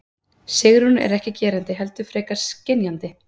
Sigrún er ekki gerandi heldur frekar skynjandi.